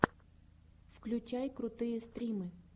включай крутые стримы